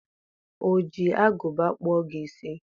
O ji agụba kpụọ gị isi?